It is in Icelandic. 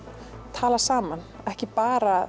tala saman ekki bara